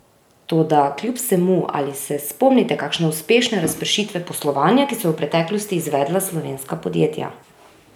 Toda kljub vsemu, ali se spomnite kakšne uspešne razpršitve poslovanja, ki so jo v preteklosti izvedla slovenska podjetja?